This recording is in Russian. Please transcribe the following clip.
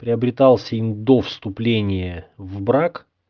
приобретался им до вступления в брак